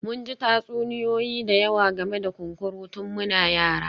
Mun ji tatsuniyoyi da yawa game da kunkuru tun muna yara